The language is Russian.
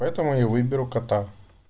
поэтому я выберу кота